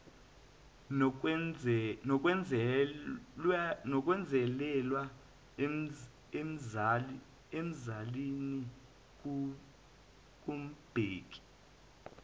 nokwenzelelwa emzalini kumbheki